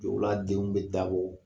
Jɔw b'a denw bɛɛ dabɔ